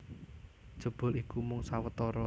Jebul iku mung sawetara